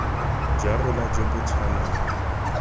jwa rona jo bo tshwanang